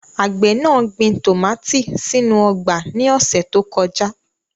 Àgbẹ̀ náà gbin tòmátì sínú ọgbà ní ọ̀sẹ̀ tó kọjá.